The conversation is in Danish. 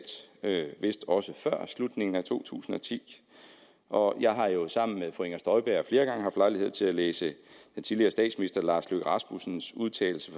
vist også før slutningen af to tusind og ti og jeg har jo sammen med fru inger støjberg flere gange haft lejlighed til at læse tidligere statsminister lars løkke rasmussens udtalelse